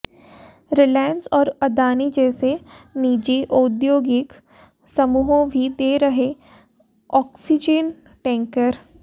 रिलायंस और अडानी जैसे निजी औद्योगिक समूहों भी दे रहे ऑक्सीजन टैंकर